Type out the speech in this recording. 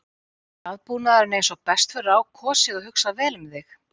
Er aðbúnaðurinn eins og best verður á kosið og hugsað vel um þig?